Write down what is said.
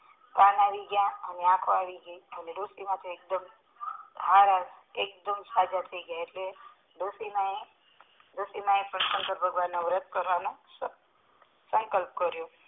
કાં આવી ગયા અને આખો આવી ગયા એકદમ સજા થઈ ગયા એટલે ડોસી માયે પણ શંકર ભગવાન ના વ્રત કરવાનું નું સંકલ્પ કરીયો